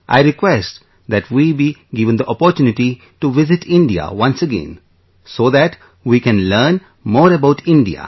I request that we be given the opportunity to visit India, once again so that we can learn more about India